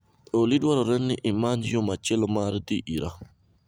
Olly dwarore ni imany yo machielo mar dhi ira